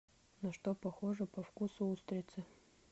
на что похожи по вкусу устрицы